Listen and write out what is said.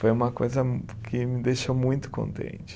Foi uma coisa que me deixou muito contente.